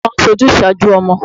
Bàbá mi máa ń sojúsàájú ọmọ.